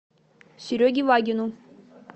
сереге вагину